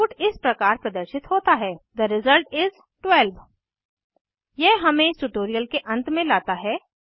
output इस प्रकार प्रदर्शित होता है थे रिजल्ट is 12 यह हमें इस ट्यूटोरियल के अंत में लाता है